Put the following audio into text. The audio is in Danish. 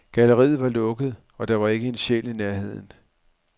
Galleriet var lukket, og der var ikke en sjæl i nærheden.